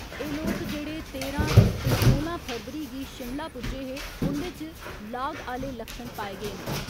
एह् लोक जेहड़े तेरां ते सोलां फरवरी गी शिमला पुज्जे हे, उंदे च लाग आह्ले लक्षण पाए गे न।